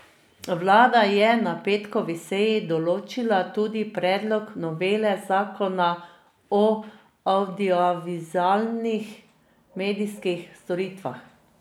Vlada je na petkovi seji določila tudi predlog novele zakona o avdiovizualnih medijskih storitvah.